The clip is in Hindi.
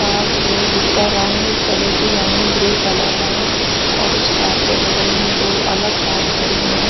कार जो जिसका रंग सलेटी यानि ग्रे कलर है और उस कार के बगल में दो अलग कार खड़ी हैं।